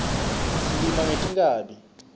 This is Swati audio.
silima ngetinkhabi